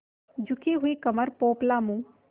झुकी हुई कमर पोपला मुँह